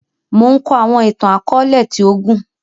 Mo n kọ àwọn ìtàn-akọọlẹ ti o gún